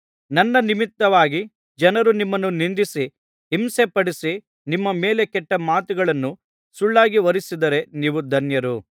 ನನ್ನ ನಿಮಿತ್ತವಾಗಿ ಜನರು ನಿಮ್ಮನ್ನು ನಿಂದಿಸಿ ಹಿಂಸೆಪಡಿಸಿ ನಿಮ್ಮ ಮೇಲೆ ಕೆಟ್ಟ ಮಾತುಗಳನ್ನು ಸುಳ್ಳಾಗಿ ಹೊರಿಸಿದರೆ ನೀವು ಧನ್ಯರು